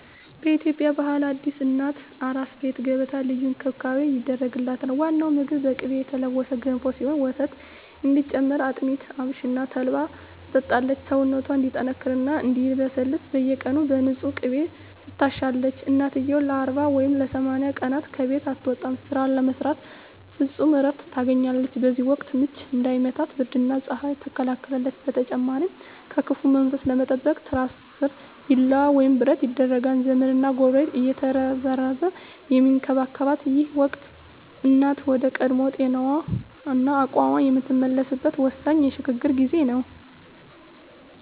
በኢትዮጵያ ባህል አዲስ እናት "አራስ ቤት" ገብታ ልዩ እንክብካቤ ይደረግላታል። ዋናው ምግቧ በቅቤ የተለወሰ ገንፎ ሲሆን፣ ወተት እንዲጨምር አጥሚት፣ አብሽና ተልባን ትጠጣለች። ሰውነቷ እንዲጠነክርና እንዲለሰልስ በየቀኑ በንፁህ ቅቤ ትታሻለች። እናትየው ለ40 ወይም ለ80 ቀናት ከቤት አትወጣም፤ ስራ ስለማትሰራ ፍጹም እረፍት ታገኛለች። በዚህ ወቅት "ምች" እንዳይመታት ብርድና ፀሐይ ትከላከላለች። በተጨማሪም ከክፉ መንፈስ ለመጠበቅ ትራሷ ስር ቢላዋ ወይም ብረት ይደረጋል። ዘመድና ጎረቤት እየተረባረበ የሚንከባከባት ይህ ወቅት፣ እናት ወደ ቀድሞ ጤናዋና አቅሟ የምትመለስበት ወሳኝ የሽግግር ጊዜ ነው።